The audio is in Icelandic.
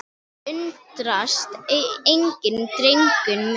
Undrast enginn, drengur minn.